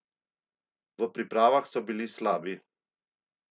V pripravah so bili slabi!